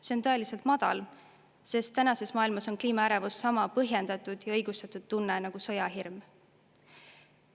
See on tõeliselt madal, sest tänases maailmas on kliimaärevus sama põhjendatud ja õigustatud tunne nagu sõjahirm.